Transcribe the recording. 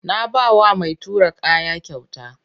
Na ba wa mai tura kaya kyauta.